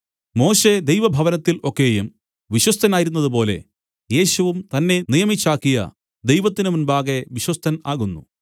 മോശെ ദൈവഭവനത്തിൽ ഒക്കെയും വിശ്വസ്തനായിരുന്നതുപോലെ യേശുവും തന്നെ നിയമിച്ചാക്കിയ ദൈവത്തിന്മുമ്പാകെ വിശ്വസ്തൻ ആകുന്നു